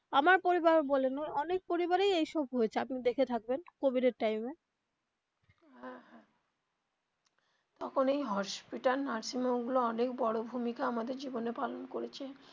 আমার পরিবার ও বলেন অনেক পরিবারেই এই সব হয়েছে আপনি দেখে থাকবেন কোভিড এর time এ হ্যা হ্যা তখন এই hospital nursing home গুলো অনেক বড়ো ভূমিকা আমাদের জীবনে পালন করেছে.